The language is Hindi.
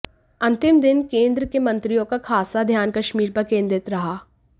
अंतिम दिन केंद्र के मंत्रियों का खासा ध्यान कश्मीर पर केंद्रित रहा